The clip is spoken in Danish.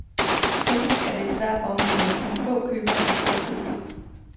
Teknisk er det et svært område, som få købere forstår fuldt ud.